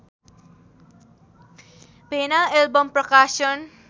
भेना album प्रकाशन